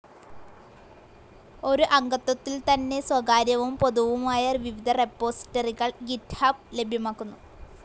ഒരു അംഗത്വത്തിൽതന്നെ സ്വകാര്യവും പൊതുവുമായ വിവിധ റെപ്പോസിറ്ററികൾ ഗിറ്റ്ഹബ് ലഭ്യമാക്കുന്നു.